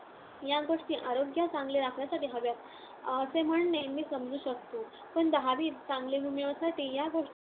या गोष्टी आरोग्य चांगले राखण्यासाठी हव्यात, असे म्हणणे मी समजू शकतो. पण दहावीत चांगले गुण मिळवण्यासाठी या गोष्टी